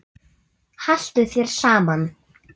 Haltu þér saman